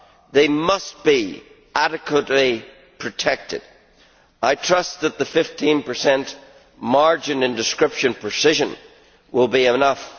They must be adequately protected. I trust that the 15 margin in description precision will be enough.